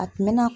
A tun bɛ na